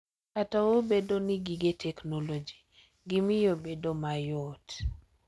Kata obedo ni gige teknoloji gi miyo bedo mayot